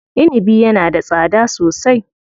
Inibi yana da tsada sosai.